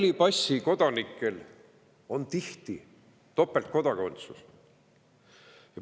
Halli passiga kodanikel on tihti nii-öelda topeltkodakondsus.